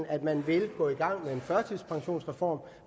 at den vil gå i gang med en førtidspensionsreform